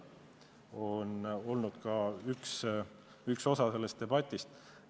See on olnud üks osa sellest debatist.